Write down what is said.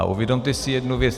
A uvědomte si jednu věc.